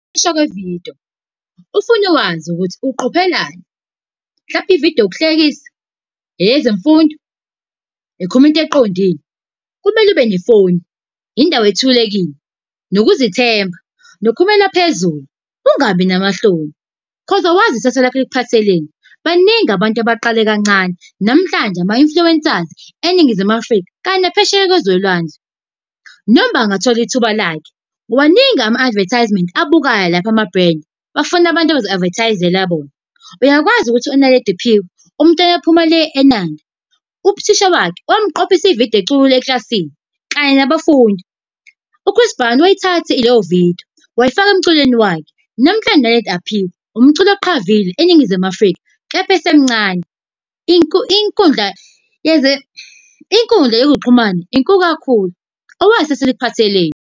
Ukuqoshwa kwevidiyo ufuna ukwazi ukuthi uqophelani, mhlawumbe ividiyo yokuhlekisa, eyezemfundo ekhuluma into eqondile. Kumele ube nefoni, indawo ethulekile, nokuzethemba nokhulumela phezulu ungabi namahloni, 'cause awazi ikusasa lakho likuphatheleni. Baningi abantu abaqale kancane namhlanje ama-influencers eNingizimu Afrika kanti naphesheya kwezolwandle. Noma uba engathola ithuba lakhe. Maningi ama-advertisement abukhayo lapho ama-brand, bafuna abantu abazo-advertise-ela bona. Uyakwazi ukuthi uNaledi Aphiwe umntwana waphuma le eNanda? Uthisha wakhe wamqophisa ividiyo ecula eklasini kanye nabafundi. U-Chris Brown wayithatha leyo vidiyo, wayifaka emculweni wakhe. Namhlanje uNaledi Aphiwe umculi oqavile enNngizimu Afrika, kepha esemncane. Inkundla inkundla yezokuxhumana inkulu kakhulu, awazi ikusasa likuphatheleni.